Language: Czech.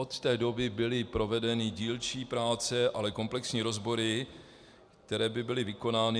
Od té doby byly provedeny dílčí práce, ale komplexní rozbory, které by byly vykonány...